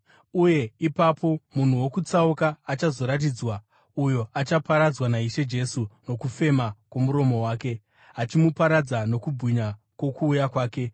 Uye ipapo munhu wokutsauka achazoratidzwa, uyo achaparadzwa naIshe Jesu nokufema kwomuromo wake, achimuparadza nokubwinya kwokuuya kwake.